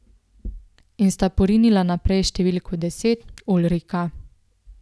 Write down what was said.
In sta porinila naprej številko deset, Ulrika.